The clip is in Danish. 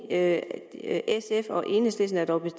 at sf og enhedslisten dog er